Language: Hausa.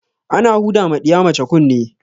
Ana huda ma ɗiya mace kunne